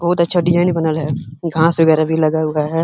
बहोत अच्छा डिजाइन बनल है। घास वगैरह भी लगा हुआ है।